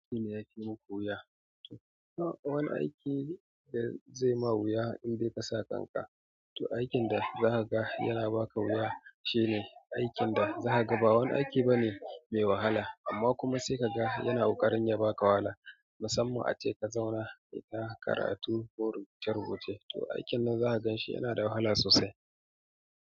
Aikin yake muku wuya? Ba wani aiki da zai ma wuya in dai kasa kanka, to aikin da za ka ga yana ba ka wuya shine aikin da za ka ga ba wani aiki ba ne mai wahala amma kuma sai ka ga yana ƙoƙarin ya ba ka wahala. Musamman ace ka zauna kayita karatu ko rubuce rubuce to aikin nan za ka gan shi yana da wahala sosai.